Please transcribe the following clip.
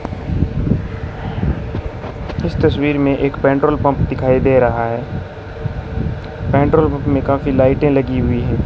इस तसवीर में एक पेट्रोल पंप दिखाई दे रहा है पेट्रोल पंप में काफी लाइटें लगी हुई हैं।